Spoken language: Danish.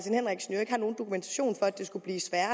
jo ikke har nogen dokumentation for at det skulle blive sværere